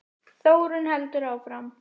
Þórunn heldur áfram